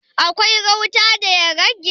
Akwai gauta da ya rage?